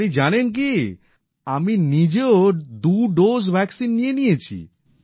আপনি জানেন কি আমি নিজেও দু ডোজ ভ্যাক্সিন নিয়ে নিয়েছি